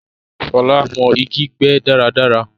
Shọla mọ̀ igi gbé dáradára